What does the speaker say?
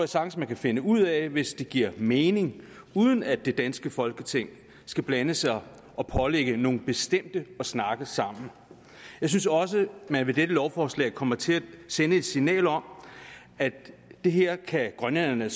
sagtens man kan finde ud af hvis det giver mening uden at det danske folketing skal blande sig og pålægge nogle bestemte at snakke sammen jeg synes også man med dette lovforslag kommer til at sende et signal om at det her kan grønlænderne